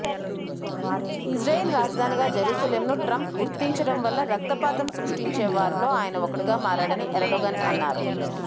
Israel రాజధానిగా జెరూసలింను Trump గుర్తించడంవల్ల రక్తపాతం సృష్టించే వారిలో ఆయన ఒకడుగా మారారని ఎర్డొగన్ అన్నారు